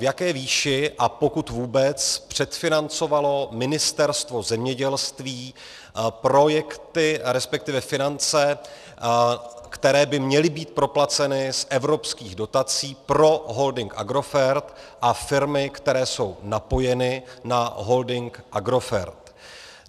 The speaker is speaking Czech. V jaké výši, a pokud vůbec, předfinancovalo Ministerstvo zemědělství projekty, respektive finance, které by měly být proplaceny z evropských dotací pro holding Agrofert a firmy, které jsou napojeny na holding Agrofert?